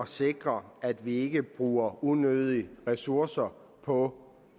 sikrer at vi ikke bruger unødige ressourcer på